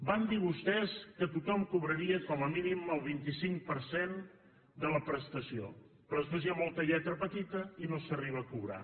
van dir vostès que tothom cobraria com a mínim el vint cinc per cent de la prestació però després hi ha molta lletra petita i no s’arriba a cobrar